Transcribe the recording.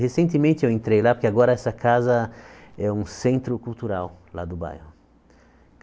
Recentemente eu entrei lá, porque agora essa casa é um centro cultural lá do bairro.